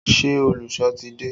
Ṣé olùsọ ti dé?